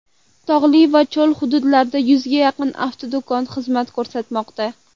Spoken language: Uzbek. Tog‘li va cho‘l hududlarida yuzga yaqin avtodo‘kon xizmat ko‘rsatmoqda.